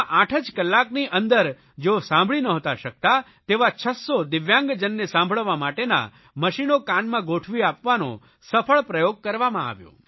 તેમાં આઠ જ કલાકની અંદર જેઓ સાંભળી નહોતા શકતા તેવા છસ્સો દિવ્યાંગજનને સાંભળવા માટેના મશીનો કાનમાં ગોઠવી આપવાનો સફળ પ્રયોગ કરવામાં આવ્યો